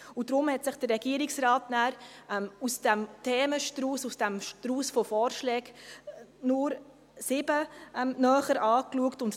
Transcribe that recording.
Deshalb hat der Regierungsrat aus dem Themenstrauss, aus dem Strauss von Vorschlägen, nur sieben näher betrachtet.